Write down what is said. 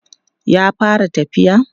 ya fara tafiya?